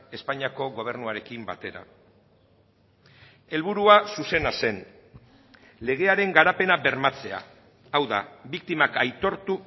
espainiako gobernuarekin batera helburua zuzena zen legearen garapena bermatzea hau da biktimak aitortu